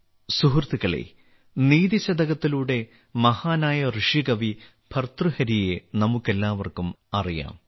സുഹൃത്തുക്കളേ നിതി ശതകത്തിലൂടെ മഹാനായ ഋഷികവി ഭർതൃഹരിയെ നമുക്കെല്ലാവർക്കും അറിയാം